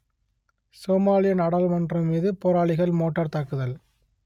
சோமாலிய நாடாளுமன்றம் மீது போராளிகள் மோட்டார் தாக்குதல்